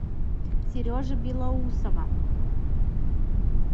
сережи белоусова